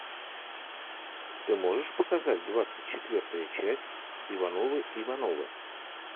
ты можешь показать двадцать четвертую часть ивановы ивановы